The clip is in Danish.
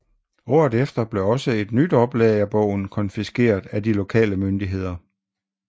Året efter blev også et nyt oplag af bogen konfiskeret af de lokale myndigheder